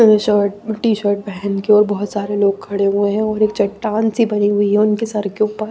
shirt T shirt पहन के और बहुत सारे लोग खड़े हुए हैं और एक चट्टान सी बनी हुई है उनके सर के ऊपर--